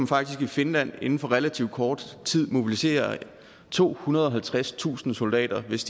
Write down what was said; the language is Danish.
faktisk i finland inden for relativt kort tid mobilisere tohundrede og halvtredstusind soldater hvis